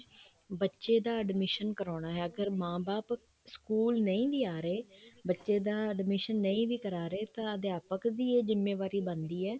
ਬੱਚੇ ਦਾ admission ਕਰਵਾਉਣਾ ਹੈ ਅਗਰ ਮਾਂ ਬਾਪ ਸਕੂਲ ਨਹੀਂ ਵੀ ਆ ਰਹੇ ਬੱਚੇ ਦਾ admission ਨਹੀਂ ਵੀ ਕਰ ਰਹੇ ਤਾਂ ਅਧਿਆਪਕ ਦੀ ਇਹ ਜਿੰਮੇਵਾਰੀ ਬਣਦੀ ਹੈ